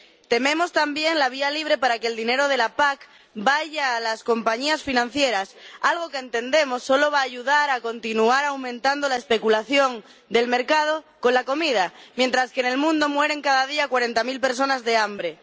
Tememos, también, la vía libre para que el dinero de la PAC vaya a las compañías financieras, algo que entendemos solo va a ayudar a continuar aumentando la especulación del mercado con la comida, mientras que en el mundo mueren cada día cuarenta mil personas de hambre.